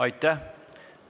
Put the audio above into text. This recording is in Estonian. Aitäh!